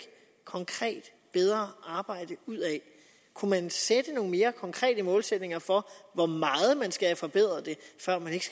konkret bedre arbejde ud af kunne man sætte nogle mere konkrete målsætninger for hvor meget man skal have det forbedret før man ikke